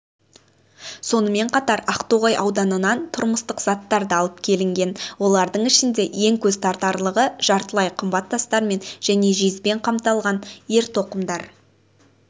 сонымен қатар ақтоғай ауданынан тұрмыстық заттар да алып келінген олардың ішінде ең көзтартарлығы жартылай қымбат тастармен және жезбен қапталған ер тоқым